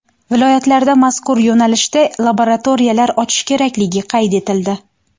Viloyatlarda mazkur yo‘nalishda laboratoriyalar ochish kerakligi qayd etildi.